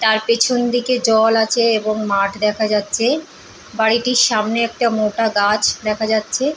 তার পেছন দিকে জল আছে এবং মাঠ দেখা যাচ্ছে। বাড়িটির সামনে একটা মোটা গাছ দেখা যাচ্ছে ।